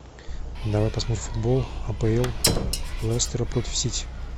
давай посмотрим футбол апл лестера против сити